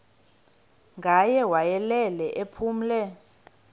ngaye wayelele ephumle